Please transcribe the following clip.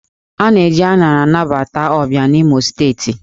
A na-eji aṅara anabata ọbịa n'Imo Steeti